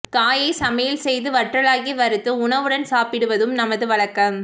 காயை சமையல் செய்து வற்றலாக்கி வறுத்து உணவுடன் சாப்பிடுவதும் நமது வழக்கம்